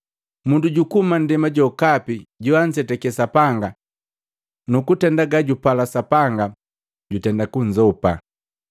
Mundu jukuhuma nndema jokapi joanzetake Sapanga nukutenda gajupala Sapanga jutenda kunzopa.